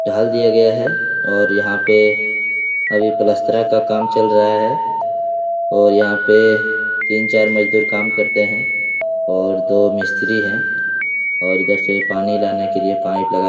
ढाल दिया गया है और यहाँ पे अभी पलस्तरा का चल रहा है और यहाँ पे तीन-चार मजदूर काम करते हैं और दो मिस्त्री हैं और इधर से पानी लाने के लिए पाइप लगाया --